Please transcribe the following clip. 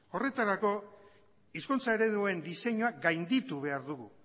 horretarako hizkuntza ereduen diseinua gainditu behar dugu